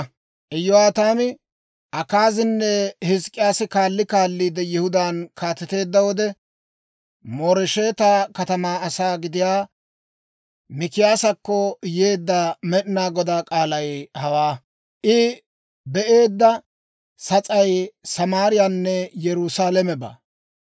Iyo'aataami, Akaazinne Hizk'k'iyaasi kaalli kaalliide Yihudaan kaateteedda wode, Mooresheta katamaa asaa gidiyaa Mikiyaasakko yeedda Med'ina Godaa k'aalay hawaa; I be'eedda sas'ay Samaariyaawaanne Yerusaalamebaa.